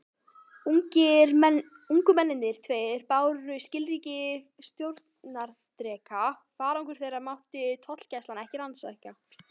Ungu mennirnir tveir báru skilríki stjórnarerindreka: farangur þeirra mátti tollgæslan ekki rannsaka.